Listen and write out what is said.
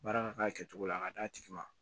Baara ka k'a kɛcogo la a ka d'a tigi ma